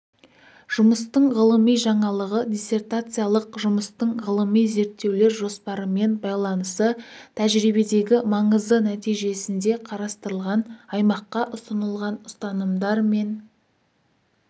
жұмыстың ғылыми жаңалығы диссертациялық жұмыстың ғылыми-зерттеулер жоспарымен байланысы тәжірибедегі маңызы нәтижесінде қарастырылған аймаққа ұсынылған ұстанымдар мен